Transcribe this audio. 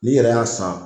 N'i yɛrɛ y'a san